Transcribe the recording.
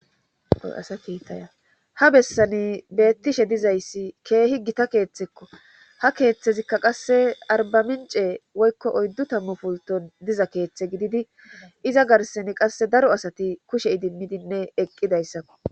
Oy asa kiitaya ha bessani beettishe dizayssi keehi gita keeththekko ha keeththezikka qasse arbamincee woykko oyddu tammu pulton diza keeththe gididi iza garseni qasse daro asati kushe idimmidinne eqqidayssakko.